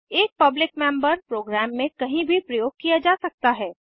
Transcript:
एक public member program में कहीं भी प्रयोग किया जा सकता है